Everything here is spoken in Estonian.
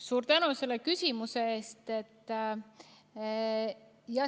Suur tänu selle küsimuse eest!